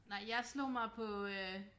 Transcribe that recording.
Nej jeg slog mig på øh